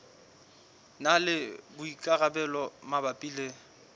na le boikarabelo mabapi le